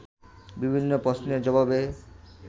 বিভিন্ন প্রশ্নের জবাবে